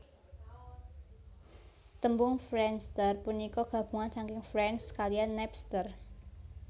Tembung friendster punika gabungan saking friends kaliyan Napster